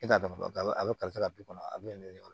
E t'a dɔn a bɛ ka kɔnɔ a bɛ ne weele